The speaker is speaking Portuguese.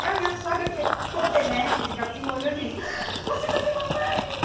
E a minha sogra, que é toda elétrica, assim, olhou e fez... Você vai ser mamãe!